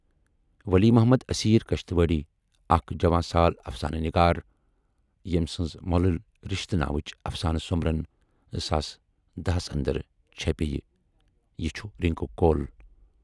ولی محمد اسیرؔ کشتواڑی اکھ جوان سال افسانہٕ نِگار ییمۍ سٕنز مۅلٕلۍ رِشتہٕ ناوٕچ افسانہٕ سومبرن ۰۱۰۲ ٕ ہَس اندر چھپے یہِ چھُ رِنکو کول